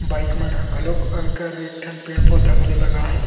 Bike मन ह घलोक अउ एकरा एक ठन पेड़-पौधा घलो लगाए हे।